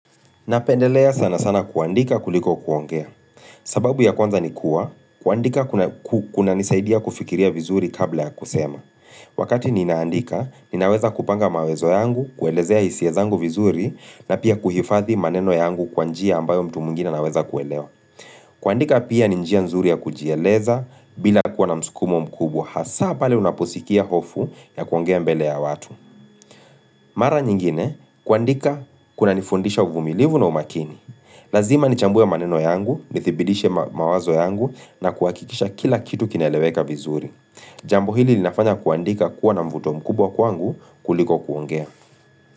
Napendelea sana sana kuandika kuliko kuongea. Sababu ya kwanza ni kuwa, kuandika kuna nisaidia kufikiria vizuri kabla ya kusema. Wakati ninaandika, ninaweza kupanga mawezo yangu, kuelezea hisia zangu vizuri, na pia kuhifathi maneno yangu kwa njia ambayo mtu mwingine anaweza kuelewa. Kuandika pia ni njia nzuri ya kujieleza, bila kuwa na msukumo mkubwa. Hasa pale unaposikia hofu ya kuongea mbele ya watu. Mara nyingine, kuandika kunanifundisha uvumilivu na umakini. Lazima nichambue maneno yangu, nithibitishe mawazo yangu na kuhakikisha kila kitu kinaeleweka vizuri Jambo hili linafanya kuandika kuwa na mvuto mkubwa kwangu kuliko kuongea.